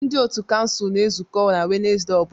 Ndị otu kansụl na-ezukọ na Wednesde ọ bụla